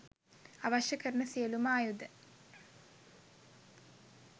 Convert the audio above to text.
අවශ්‍ය කරන සියලුම ආයුධ